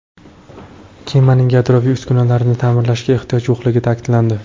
Kemaning yadroviy uskunalarini ta’mirlashga ehtiyoj yo‘qligi ta’kidlandi.